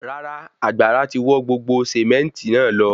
Rárá, àgbàrá tí wọ́ gbogbo sementi náà lọ